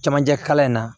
Camancɛ kalan in na